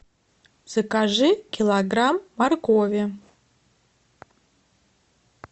закажи килограмм моркови